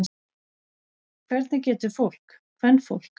Hvernig getur fólk. kvenfólk.